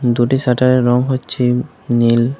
দুটি শাটারের রং হচ্ছে নীল।